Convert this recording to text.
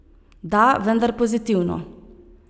Da, vendar pozitivno.